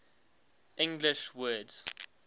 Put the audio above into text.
english words